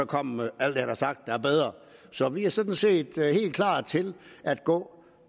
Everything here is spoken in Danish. kommer med alt det han har sagt er bedre så vi er sådan set helt klar til at gå